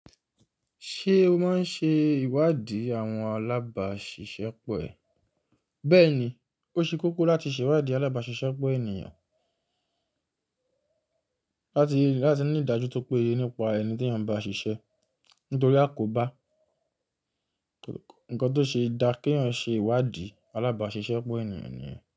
Ṣé o máa ń ṣe ìwádìí àwọn alábàáṣiṣẹ́pọ̀ ẹ? Bẹ́ẹ̀ ni, ó ṣe kókó láti ṣe ìwádìí alábàáṣiṣẹ́pọ̀ ènìyàn láti ní ìdájú tó péye nípa ẹni tí yàn bá ṣiṣẹ́. Nítorí a kò bá nnkan tó ṣe é dá kí yàn ṣe ìwádìí alábàáṣiṣẹ́pọ̀ ènìyàn ni yen.